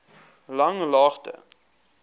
langlaagte